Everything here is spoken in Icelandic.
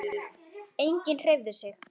Enginn hreyfði sig.